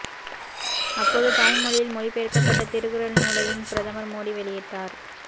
அப்போது தாய் மொழியில் மொழிபெயர்க்கப்பட்ட திருக்குறள் நூலையும் பிரதமர் மோடி வெளியிட்டார்